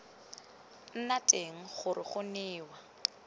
nna teng gore go newa